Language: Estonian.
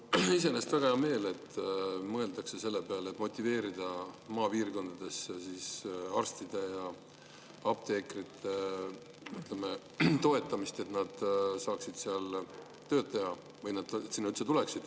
Mul on iseenesest väga hea meel, et mõeldakse selle peale, kuidas motiveerida arste ja apteekreid, et nad saaksid maapiirkondades tööd teha või et nad sinna üldse.